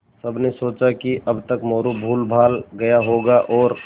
सबने सोचा कि अब तक मोरू भूलभाल गया होगा और